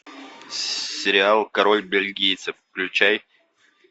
сериал король бельгийцев включай